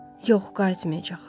Yox, qayıtmayacaq.